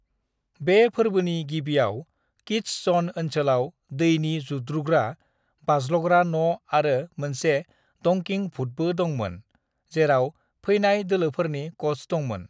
"बे फोर्बोनि गिबियाव किड्स ज'न ओनसोलाव दैनि जुद्रुग्रा, बाज्ल'ग्रा न' आरो मोनसे डंकिंग भुतबो दंमोन, जेराव फैनाय दोलोफोरनि क'च दंमोन।"